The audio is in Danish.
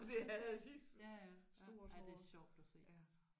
Og det havde de. Stort hår ja